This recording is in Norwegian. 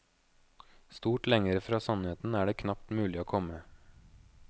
Stort lengre fra sannheten er det knapt mulig å komme.